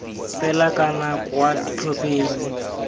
fela kana c kwa ditlhopheng